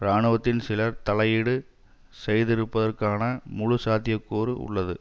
இராணுவத்தின் சிலர் தலையீடு செய்திருப்பதற்கான முழு சாத்தியக்கூறு உள்ளது